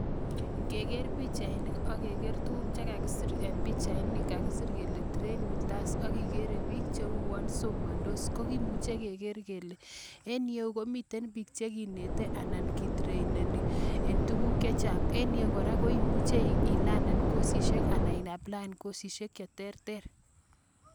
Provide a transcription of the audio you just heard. Ngeger pichainik ak ngerer tuguk chagakisir en pichaini kagisir kelee train with us ak igeree piik cheuwon somandos kogimuche kegeer kelee en iyeu komiten piik cheginete anan kitreineni en tuguk chechang, en iyeu kora koimuche ilanen kosisiek anan iaplaen kosisiek cheterter.